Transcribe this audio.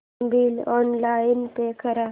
phone bill online pay कर